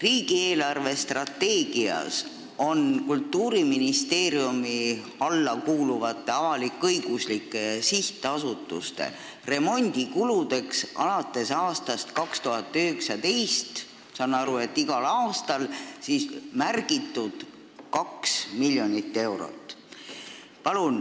Riigi eelarvestrateegias on Kultuuriministeeriumi alla kuuluvate avalik-õiguslike sihtasutuste remondikuludeks alates aastast 2019, ma saan nii aru, igal aastal märgitud 2 miljonit eurot.